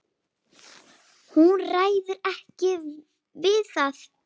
Hún ræður ekki við það.